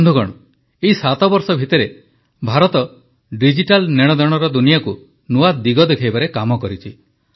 ବନ୍ଧୁଗଣ ଏହି 7 ବର୍ଷ ଭିତରେ ଭାରତ ଡିଜିଟାଲ୍ ନେଣଦେଣର ଦୁନିଆକୁ ନୂଆ ଦିଗ ଦେଖାଇବାରେ କାମ କରିଛି